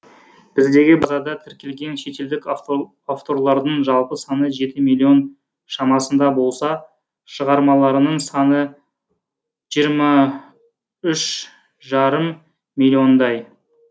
біздегі базада тіркелген шетелдік авторлардың жалпы саны жеті миллион шамасында болса шығармаларының саны жиырма үш жарым миллиондай